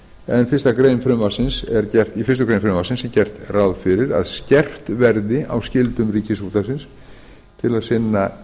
en í fyrstu grein frumvarpsins er gert ráð fyrir að skerpt verði á skyldum ríkisútvarpsins til að